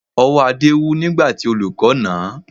Ọwọ́ Adé wú nígbà tí olùkọ́ nà án